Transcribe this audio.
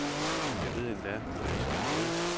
Jeg ved endda, hvad vi skal hedde.